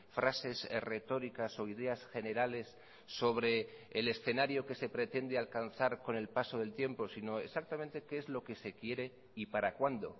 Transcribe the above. frases retóricas o ideas generales sobre el escenario que se pretende alcanzar con el paso del tiempo sino exactamente qué es lo que se quiere y para cuándo